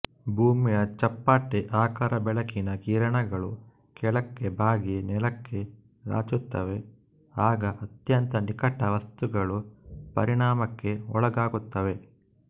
ಭೂಮಿಯ ಚಪ್ಪಟೆ ಆಕಾರಬೆಳಕಿನ ಕಿರಣಗಳು ಕೆಳಕ್ಕೆ ಬಾಗಿ ನೆಲಕ್ಕೆ ರಾಚುತ್ತವೆ ಆಗ ಅತ್ಯಂತ ನಿಕಟ ವಸ್ತುಗಳು ಪರಿಣಾಮಕ್ಕೆ ಒಳಗಾಗುತ್ತವೆ